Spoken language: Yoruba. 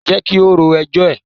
Jẹ́ kí ó ro ẹjọ́ ẹ̀.